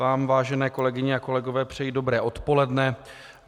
Vám, vážené kolegyně a kolegové, přeji dobré odpoledne.